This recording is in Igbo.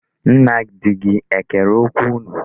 Nna di gị ekere okwu unu?